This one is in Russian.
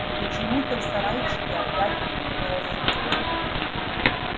и почему-то в сарайчике опять хрюкнула свинья